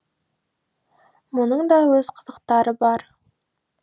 мұның да өз қызықтары бар